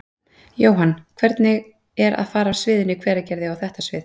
Jóhann: Hvernig er að fara af sviðinu í Hveragerði og á þetta svið?